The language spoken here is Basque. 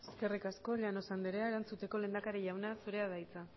eskerrik asko llanos andrea erantzuteko lehendakari jauna zurea da hitza